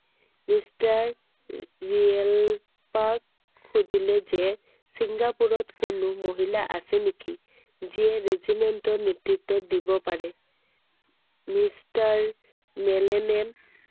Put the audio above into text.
mister ৰিয়েলপাক সুধিলে যে চিঙ্গাপুৰত কোনো মহিলা আছে নেকি? যিয়ে regiment ত নেতৃত্ব দিব পাৰে I mister মেলেনে